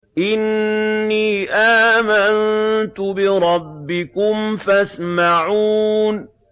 إِنِّي آمَنتُ بِرَبِّكُمْ فَاسْمَعُونِ